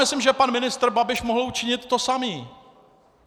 Myslím, že pan ministr Babiš mohl učinit to samé.